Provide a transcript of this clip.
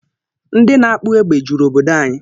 Ndị na-akpụ egbe juru obodo anyị